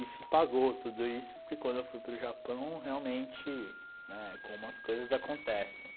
E se pagou tudo isso, porque quando eu fui para o Japão, realmente, né, como as coisas acontecem.